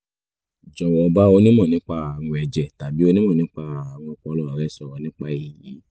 jọ̀wọ́ bá onímọ̀ nípa ààrùn ẹ̀jẹ̀ tàbí onímọ̀ nípa ààrùn ọpọlọ rẹ sọ̀rọ̀ nípa èyí